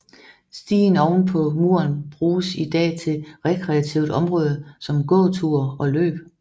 Stien oven på muren brges i dag til rekreativt område som gåture og løb